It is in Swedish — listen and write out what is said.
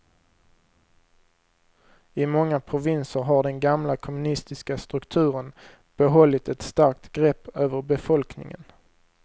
I många provinser har den gamla kommunistiska strukturen behållit ett starkt grepp över befolkningen.